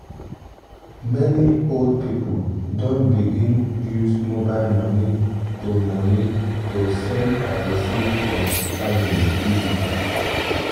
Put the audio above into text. many old people don begin use mobile money to money to send and receive from family easily.